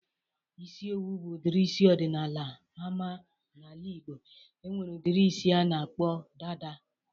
Isi owu bụ udiri isi ọdịnala ama n'ala Ịgbo. E nwere udiri isi a na-akpọ dada.